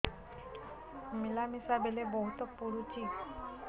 ମିଳାମିଶା ବେଳେ ବହୁତ ପୁଡୁଚି